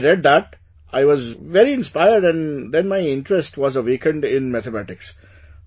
When I read that, I was very inspired and then my interest was awakened in Mathematics